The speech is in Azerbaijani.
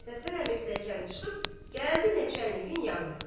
Məhəmməd Həsən əmi piləkəni çıxıb gəldi Nəçannikin yanına.